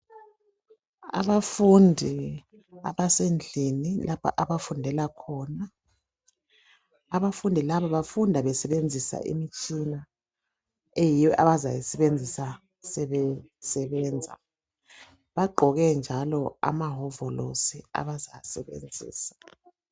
Abafundi abasendlini lapha abafundela khona, abafundi laba bafunda besebenzisa imitshina eyiyo abazayisebenzisa sebesebenza. Bagqoke njalo amahovolosi abazawasebenzisa.